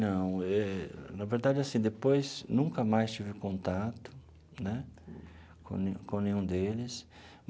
Não eh, na verdade, assim, depois nunca mais tive contato, né, com ne com nenhum deles.